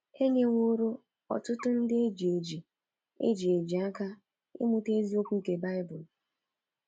E nyeworo ọtụtụ ndị e ji eji e ji eji aka ịmụta eziokwu nke baịbụl.